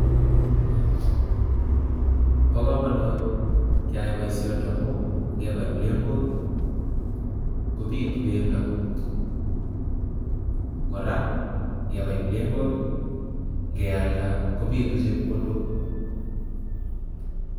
Bo kamanut keyai boisioni amu ngebai plengwok kobitu bendo, Kora ngebai plengwok kealda kobitu chepkondok.